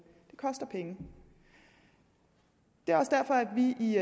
det koster penge det er også derfor at vi vi